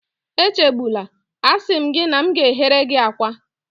Echegbula, a sị m gị na m ga-eghere gị akwa